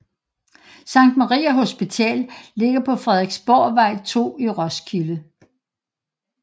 Sankt Maria Hospital ligger på Frederiksborgvej 2 i Roskilde